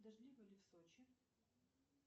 дождливо ли в сочи